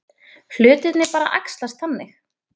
Hlutirnir bara æxlast þannig.